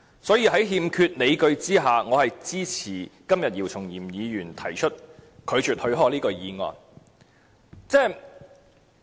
所以，在欠缺理據下，我是支持姚松炎議員今天提出拒絕許可的議案的。